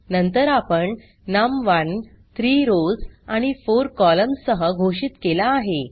नंतर आपण नम1 3 रॉव्स आणि 4 कॉलम्न्स सह घोषित केला आहे